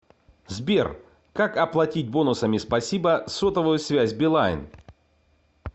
сбер как оплатить бонусами спасибо сотовую связь билайн